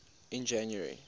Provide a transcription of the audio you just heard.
in january